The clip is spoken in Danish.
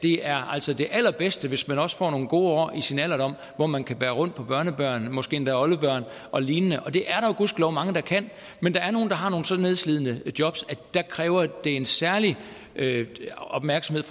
er det allerbedste hvis man også får nogle gode år i sin alderdom hvor man kan bære rundt på børnebørnene måske endda oldebørnene og lignende og det er der jo gudskelov mange der kan men der er nogle der har nogle så nedslidende jobs at det kræver en særlig opmærksomhed